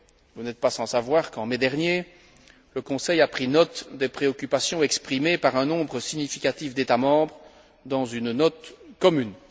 Vous n'êtes pas sans savoir qu'en mai dernier le Conseil a pris acte des préoccupations exprimées par un nombre significatif d'États membres dans une note commune.